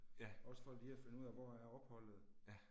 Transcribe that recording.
Ja. Ja